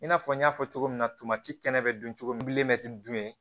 I n'a fɔ n y'a fɔ cogo min na tomati kɛnɛ bɛ dun cogo min dun ye